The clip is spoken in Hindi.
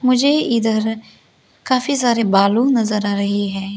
मुझे इधर काफी सारे बालू नजर आ रही है।